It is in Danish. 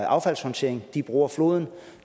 affaldssortering de bruger floden